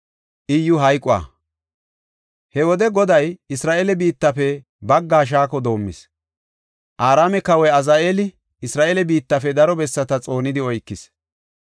He wode Goday Isra7eele biittafe baggaa shaako doomis. Araame kawoy Azaheeli Isra7eele biittafe daro bessata xoonidi oykis.